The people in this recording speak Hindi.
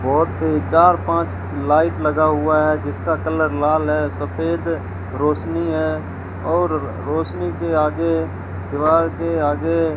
बहोत ही चार पांच लाइट लगा हुआ है जिसका कलर लाल है सफेद रोशनी है और रोशनी के आगे दीवार के आगे --